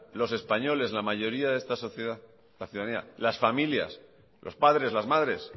los españoles la mayoría de esta sociedad la ciudadanía las familias los padres las madres